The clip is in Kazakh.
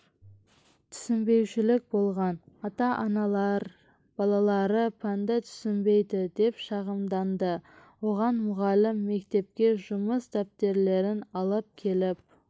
түсінбеушілік болған ата-аналар балалары пәнді түсінбейді деп шағымданды оған мұғалім мектепке жұмыс дәптерлерін алып келіп